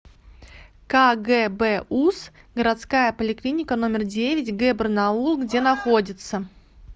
кгбуз городская поликлиника номер девять г барнаул где находится